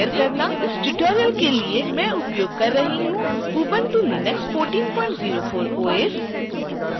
इस ट्यूटोरियल के लिए मैं उपयोग कर रही हूँ ubuntu linux 1404 os